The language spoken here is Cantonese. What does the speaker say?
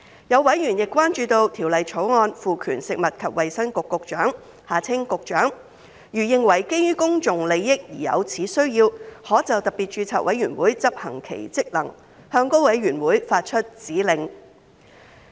有委員亦關注到《條例草案》賦權食物及衞生局局長，如認為基於公眾利益而有此需要，可就特別註冊委員會執行其職能，向該委員會發出指令。